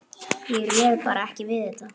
Ég réði bara ekki við þetta.